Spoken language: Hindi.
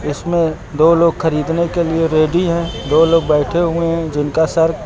इसमें दो लोग खरीदने के लिए रेडी हैं। दो लोग बैठे हुए हैं जिनका सर --